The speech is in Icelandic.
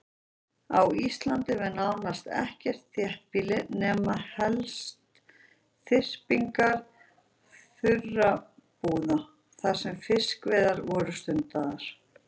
Á Íslandi var nánast ekkert þéttbýli nema helst þyrpingar þurrabúða þar sem fiskveiðar voru stundaðar.